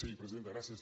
sí presidenta gràcies